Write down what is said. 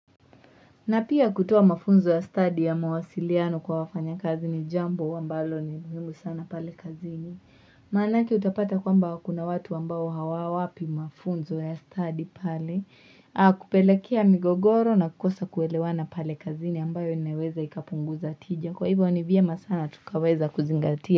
Na pia kutoa mafunzo ya study ya mawasiliano kwa wafanya kazi ni jambo ambalo ni muhimu sana pale kazini. Maanake utapata kwamba kuna watu ambao hawawapi mafunzo ya study pale. Akupelekea migogoro na kukosa kuelewana pale kazini ambayo inaweza ikapunguza tija. Kwa hivyo ni vyema sana tukaweza kuzingatia.